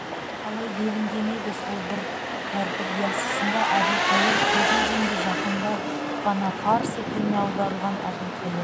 қалай делінген еді сол бір тәртіп ясысында әбілқайыр көзін жұмды жақында ғана фарсы тіліне аударылған әбілқайыр